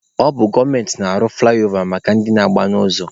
Ọ bụ gọọmenti na-arụ fụlaịova maka ndị na-agba n'ụzọ.